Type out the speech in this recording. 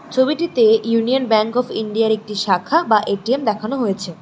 ছবিটিতে union bank of ইন্ডিয়ার একটি শাখা বা এ_টি_এম দেখানো হয়েছে।